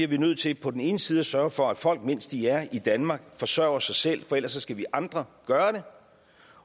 vi nødt til på den ene side at sørge for at folk mens de er i danmark forsørger sig selv for ellers skal vi andre gøre det